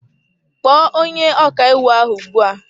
Kpọọ onye ọkàiwu ahụ ugbu a!